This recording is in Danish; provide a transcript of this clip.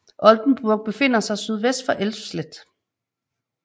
Oldenburg befinder sig sydvest for Elsfleth